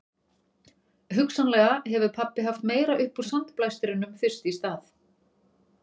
Hugsanlega hefur pabbi haft meira upp úr sandblæstrinum fyrst í stað